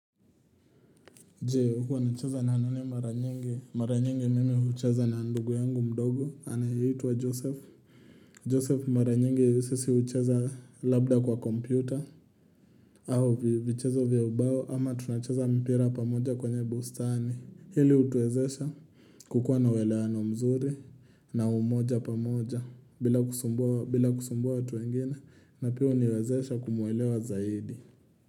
Je, huwa unacheza na nani mara nyingi? Mara nyingi mimi hucheza na ndugu yangu mdogo, anayeitwa Joseph. Joseph mara nyingi sisi hucheza labda kwa kompyuta, au vichezo vya ubao, ama tunacheza mpira pamoja kwenye bustani. Hili utuwezesha kukua na uwelewano mzuri, na umoja pamoja, bila kusumbua watu wengine, na pia uniwezesha kumuelewa zaidi.